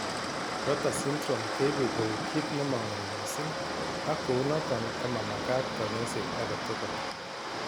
Rotor syndrome keibe kou kiit nemang'oi mising ak kounotok komamagat kanyoiset age tugul